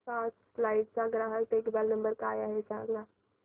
first flight चा ग्राहक देखभाल नंबर काय आहे मला सांग